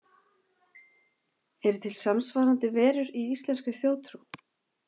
Eru til samsvarandi verur í íslenskri þjóðtrú?